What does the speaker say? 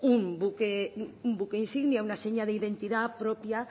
un buque insignia una seña de identidad propia